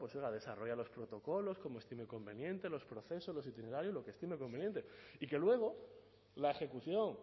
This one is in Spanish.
pues desarrolle los protocolos como estime conveniente los procesos los itinerarios lo que estime conveniente y que luego la ejecución